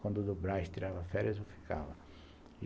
Quando o do Brás tirava férias, eu ficava.